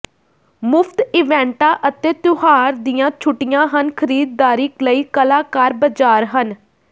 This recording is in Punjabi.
ਮੁਫ਼ਤ ਇਵੈਂਟਾਂ ਅਤੇ ਤਿਉਹਾਰ ਦੀਆਂ ਛੁੱਟੀਆਂ ਹਨ ਖਰੀਦਦਾਰੀ ਲਈ ਕਲਾਕਾਰ ਬਾਜ਼ਾਰ ਹਨ